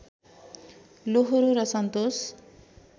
लोहोरो र सन्तोष